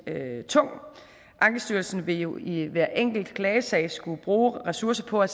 tung ankestyrelsen vil jo i hver enkelt klagesag skulle bruge ressourcer på at